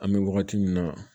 An bɛ wagati min na